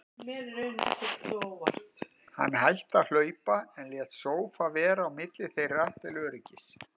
Hann hætti að hlaupa, en lét sófa vera á milli þeirra til öryggis.